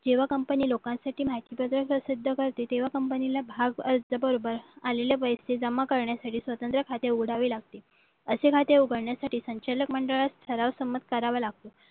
जेव्हा कंपनी लोकांसाठी सिद्ध करते तेव्हा कंपनीला भाव अर्ज बरोबर आलेल्या पैसे जमा करण्यासाठी स्वतंत्र खाते उघडावे लागते असे खाते उघडण्यासाठी संचालक मंडळ ठराव संमत करावा लागतो